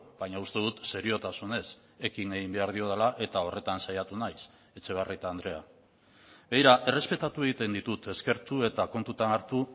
baina uste dut seriotasunez ekin egin behar diodala eta horretan saiatu naiz etxebarrieta andrea begira errespetatu egiten ditut eskertu eta kontutan hartu